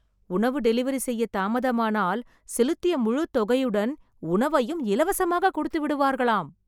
உணவு டெலிவரி செய்ய தாமதமானால் செலுத்திய முழு தொகையுடன் உணவையும் இலவசமாக கொடுத்து விடுவார்களாம்